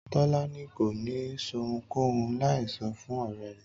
Tọ́lání kò ní ṣohunkóhun láì sọ fún ọ̀rẹ́ rẹ̀